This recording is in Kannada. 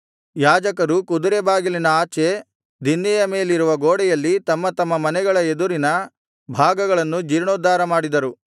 ಯಾಜಕರು ಕುದುರೆ ಬಾಗಿಲಿನ ಆಚೆ ದಿನ್ನೆಯ ಮೇಲಿರುವ ಗೋಡೆಯಲ್ಲಿ ತಮ್ಮ ತಮ್ಮ ಮನೆಗಳ ಎದುರಿನ ಭಾಗಗಳನ್ನು ಜೀರ್ಣೋದ್ಧಾರ ಮಾಡಿದರು